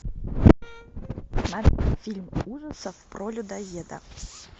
смотреть фильм ужасов про людоеда